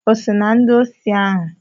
O so na ndị osi ahụ?